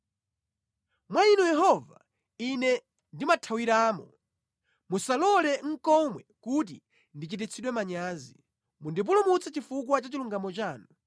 Mwa Inu Yehova, ine ndimathawiramo; musalole nʼkomwe kuti ndichititsidwe manyazi; mundipulumutse chifukwa cha chilungamo chanu.